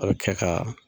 A bɛ kɛ ka